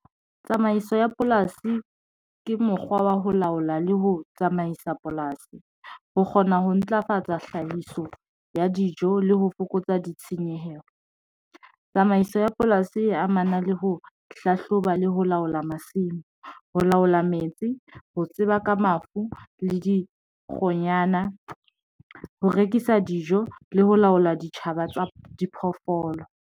Tsamaiso ya polasi ke mokgwa wa ho laola le ho tsamaisa polasi, ho kgona ho ntlafatsa hlahiso ya dijo le ho fokotsa ditshenyehelo. Tsamaiso ya polasi e amana le ho hlahlobale ho laola masimo, ho laola metsi, ho tseba ka mafu le dikgonyana, ho rekisa dijo le ho laola ditjhaba tsa diphoofolo.